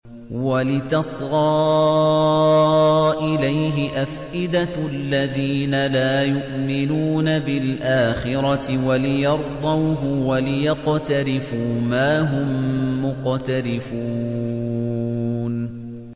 وَلِتَصْغَىٰ إِلَيْهِ أَفْئِدَةُ الَّذِينَ لَا يُؤْمِنُونَ بِالْآخِرَةِ وَلِيَرْضَوْهُ وَلِيَقْتَرِفُوا مَا هُم مُّقْتَرِفُونَ